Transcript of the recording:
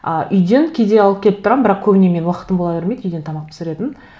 ы үйден кейде алып келіп тұрамын бірақ көбіне менің уақытым бола бермейді үйден тамақ пісіретін